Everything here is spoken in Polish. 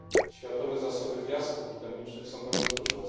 Światowe zasoby piasków bitumicznych są bardzo duże.